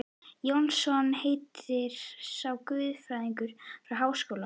Jónsson heitir sá, guðfræðinemi við Háskólann.